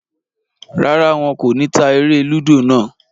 Rárá, wọn kò ní ta eré-lúdò náà.